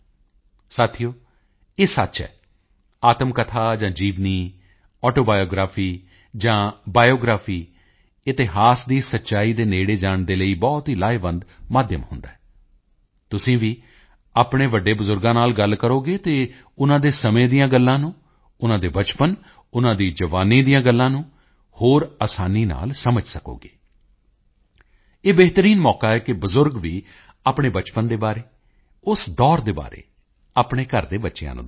ਸਾਥੀਓ ਇਹ ਸੱਚ ਹੈ ਆਤਮ ਕਥਾ ਜਾਂ ਜੀਵਨੀ ਆਟੋਬਾਇਓਗ੍ਰਾਫੀ ਜਾਂ ਬਾਇਓਗ੍ਰਾਫੀ ਇਤਿਹਾਸ ਦੀ ਸੱਚਾਈ ਦੇ ਨੇੜੇ ਜਾਣ ਲਈ ਬਹੁਤ ਹੀ ਲਾਹੇਵੰਦ ਮਾਧਿਅਮ ਹੁੰਦੀ ਹੈ ਤੁਸੀਂ ਵੀ ਆਪਣੇ ਵੱਡੇ ਬਜ਼ੁਰਗਾਂ ਨਾਲ ਗੱਲ ਕਰੋਗੇ ਤਾਂ ਉਨ੍ਹਾਂ ਦੇ ਸਮੇਂ ਦੀਆਂ ਗੱਲਾਂ ਨੂੰ ਉਨ੍ਹਾਂ ਦੇ ਬਚਪਨ ਉਨ੍ਹਾਂ ਦੀ ਜਵਾਨੀ ਦੀਆਂ ਗੱਲਾਂ ਨੂੰ ਹੋਰ ਅਸਾਨੀ ਨਾਲ ਸਮਝ ਸਕੋਗੇ ਇਹ ਬਿਹਤਰੀਨ ਮੌਕਾ ਹੈ ਕਿ ਬਜ਼ੁਰਗ ਵੀ ਆਪਣੇ ਬਚਪਨ ਦੇ ਬਾਰੇ ਉਸ ਦੌਰ ਦੇ ਬਾਰੇ ਆਪਣੇ ਘਰ ਦੇ ਬੱਚਿਆਂ ਨੂੰ ਦੱਸਣ